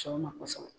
Sɔn ma kosɛbɛ